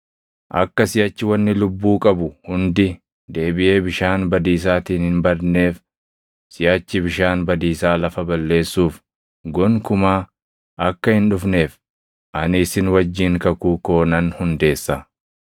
Akka siʼachi wanni lubbuu qabu hundi deebiʼee bishaan badiisaatiin hin badneef, siʼachi bishaan badiisaa lafa balleessuuf gonkumaa akka hin dhufneef ani isin wajjin kakuu koo nan hundeessa.”